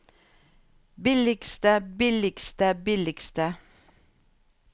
billigste billigste billigste